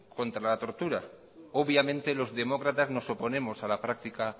contra la tortura obviamente los demócratas nos oponemos a la práctica